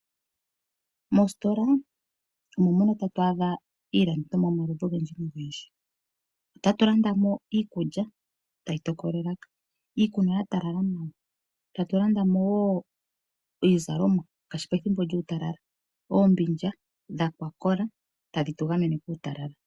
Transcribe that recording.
Mositola omo mono tatu adha iilandithomwa yomaludhi ogendji. Otatu landa mo iikulya tayi tokola elaka, iikunwa ya talala nawa, tatu landa mo wo iizalomwa ngaashi pethimbo lyuutalala, oombindja dho kwa kola tadhi tu gamene kuutalala.